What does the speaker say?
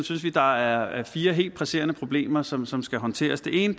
synes vi der er fire helt presserende problemer som som skal håndteres det ene